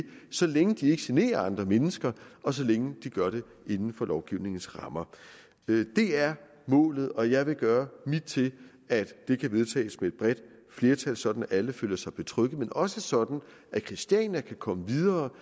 så længe de ikke generer andre mennesker og så længe de gør det inden for lovgivningens rammer det er målet og jeg vil gøre mit til at det kan vedtages med et bredt flertal sådan at alle føler sig betrygget men også sådan at christiania kan komme videre